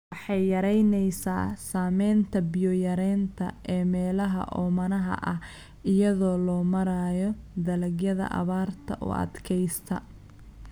Waxay yaraynaysaa saamaynta biyo yaraanta ee meelaha oomanaha ah iyada oo loo marayo dalagyada abaarta u adkaysta.